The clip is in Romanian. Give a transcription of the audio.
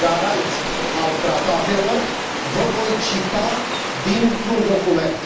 de garant al Tratatelor, vă voi cita dintr un document.